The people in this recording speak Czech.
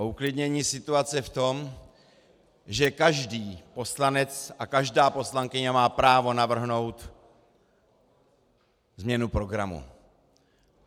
O uklidnění situace v tom, že každý poslanec a každá poslankyně má právo navrhnout změnu programu.